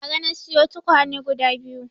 Bara na siyo tukwane guda biyu